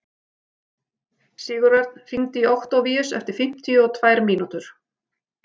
Sigurörn, hringdu í Októvíus eftir fimmtíu og tvær mínútur.